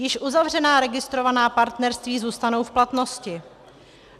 Již uzavřená registrovaná partnerství zůstanou v platnosti.